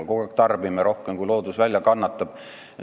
Me kogu aeg tarbime rohkem, kui loodus välja kannatab.